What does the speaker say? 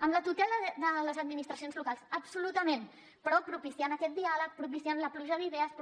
amb la tutela de les administracions locals absolutament però propiciant aquest diàleg propiciant la pluja d’idees